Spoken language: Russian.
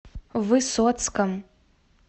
высоцком